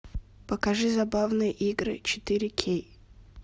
покажи забавные игры четыре кей